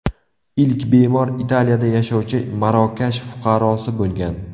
Ilk bemor Italiyada yashovchi Marokash fuqarosi bo‘lgan.